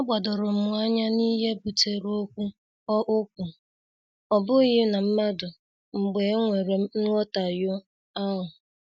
A gbadorom anya n'ihe butere okwu, ọ okwu, ọ bụghị na mmadụ, mgbe e nwere nhotahio ahụ.